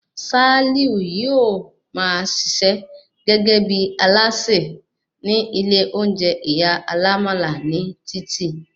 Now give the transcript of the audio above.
Sálíù yóò máa ṣiṣẹ́ gẹ́gẹ́ bí alásè ní ilé oúnjẹ ìyá alámálà ní títì